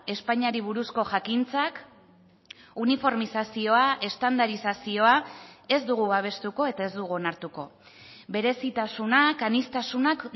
espainiari buruzko jakintzak uniformizazioa estandarizazioa ez dugu babestuko eta ez dugu onartuko berezitasunak aniztasunak